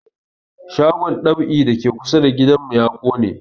Shagon dab'i da ke kusa da gidan mu ya ƙone